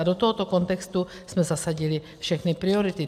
A do tohoto kontextu jsme zasadili všechny priority.